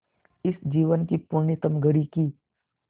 इस जीवन की पुण्यतम घड़ी की स्